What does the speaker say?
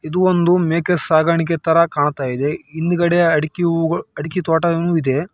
ಇದು ಒಂದು ಮೇಕೆ ಸಾಕಾಣಿಕೆ ತರಾ ಕಾಣ್ತಾ ಇದೆ. ಹಿಂದುಗಡೆ ಅಡಿಕೆ ಅಡಿಕೆ ತೋಟಗಳು ಇದೆ.